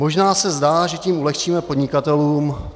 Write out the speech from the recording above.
Možná se zdá, že tím ulehčíme podnikatelům.